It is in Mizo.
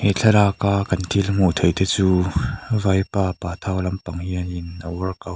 he thlalak a kan thil hmuh theih te chu vaipa pathau lampang hian in a workout --